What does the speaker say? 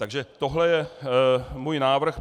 Takže tohle je můj návrh.